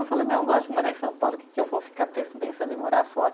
Eu falei, mas eu gosto de morar em São Paulo, o que eu vou ficar pes, pensando em morar fora?